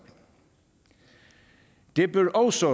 det bør også